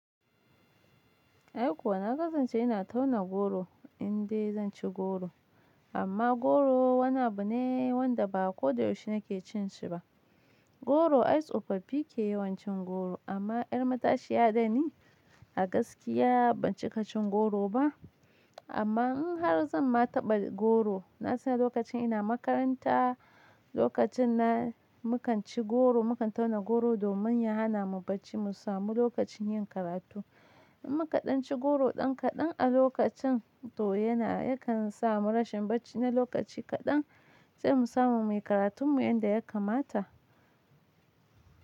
Ai kuwa na ƙasance ina tauna goro indai zan ci goro. Amma goro wani abu ne wanda ba ko da yaushe nake cin shi ba. Goro ai tsofaffi ke yawan cin goro amma yar matashiya dani a gaskiya ban cika cin goro ba. Amma in har zan ma taɓa goro, na san lokacin ina makaranta, lokacin na mu kan ci goro mu kan tauna goro domin ya hana mu bacci mu samu lokacin yin karatu. In muka ɗan ci goro ɗan kaɗan a lokacin to yana yakan sa mu rashin bacci na lokaci kaɗan sai mu samu muyi karatun mu inda ya kamata.